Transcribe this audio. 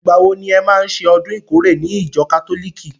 Ìgbà wo ni e má ṣe ọdún ìkórè ní ìjọ kátólìkì?